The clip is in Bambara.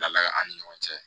Ladala an ni ɲɔgɔn cɛ